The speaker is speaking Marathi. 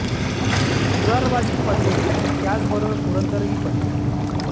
मुरारबाजी पडले आणि त्याच बरोबर पुरंदर ही पडला